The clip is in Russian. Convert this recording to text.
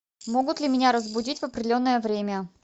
могут ли меня разбудить в определенное время